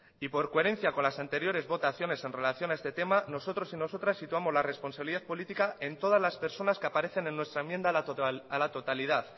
y por coherencia con las anteriores votaciones en relación a este tema nosotros y nosotras situamos la responsabilidad política en todas las personas que aparecen en nuestra enmienda a la totalidad